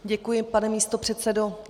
Děkuji, pane místopředsedo.